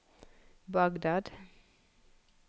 Bagdad